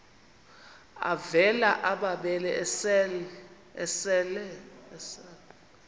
avela amabele esel